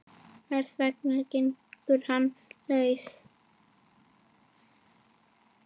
Hvers vegna gengur hann laus?